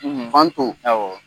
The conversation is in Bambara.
Awɔ.